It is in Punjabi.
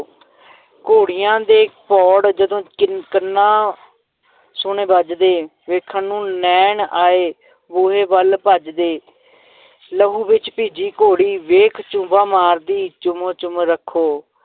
ਘੋੜੀਆਂ ਦੇ ਪੌੜ ਜਦੋਂ ਕੰਨ ਕੰਨਾਂ ਸੁਣੇ ਵੱਜਦੇ ਵੇਖਣ ਨੂੰ ਨੈਣ ਆਏ ਬੂਹੇ ਵੱਲ ਭੱਜਦੇ ਲਹੂ ਵਿੱਚ ਭਿੱਜੀ ਘੋੜੀ ਵੇਖ ਝੁੱਬਾਂ ਮਾਰਦੀ, ਚੁੰਮ ਚੁੰਮ ਰੱਖੋ।